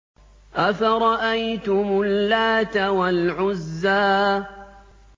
أَفَرَأَيْتُمُ اللَّاتَ وَالْعُزَّىٰ